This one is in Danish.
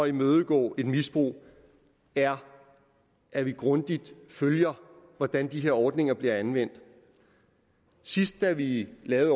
imødegå et misbrug er at vi grundigt følger hvordan de her ordninger bliver anvendt sidst da vi lavede